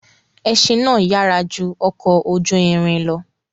Ẹṣin náà yára ju ọ̀kọ̀ ojú ìrìn lọ̀.